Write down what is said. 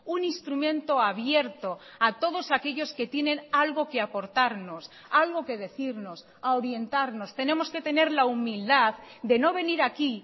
un instrumento abierto a todos aquellos que tienen algo que aportarnos algo que decirnos a orientarnos tenemos que tener la humildad de no venir aquí